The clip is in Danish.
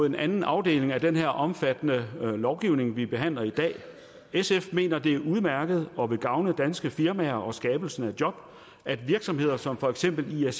en anden afdeling af den her omfattende lovgivning vi behandler i dag sf mener at det er udmærket og vil gavne danske firmaer og skabelsen af job at virksomheder som for eksempel